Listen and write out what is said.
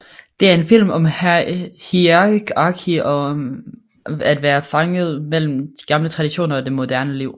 Det er en film om hierarki og om at være fanget mellem gamle traditioner og det moderne liv